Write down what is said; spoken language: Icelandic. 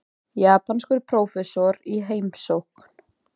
Japanskur prófessor í heimsókn.